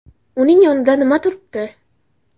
Uning yonida nima turibdi?”.